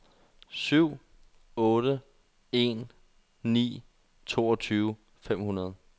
syv otte en ni toogtyve fem hundrede